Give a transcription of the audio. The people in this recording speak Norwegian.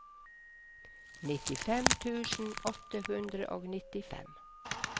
nittifem tusen åtte hundre og nittifem